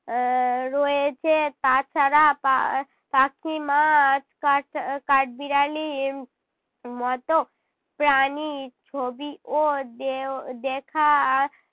এর রয়েছে তাছাড়া পাখি মাছ কাঠ~ আহ কাঠবিড়ালির মত প্রাণীর ছবিও দেও~ দেখা